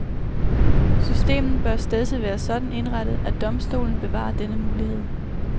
Systemet bør stedse være sådan indrettet, at domstolene bevarer denne mulighed.